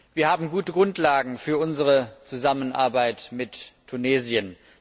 Wir haben gute Grundlagen für unsere Zusammenarbeit mit Tunesien.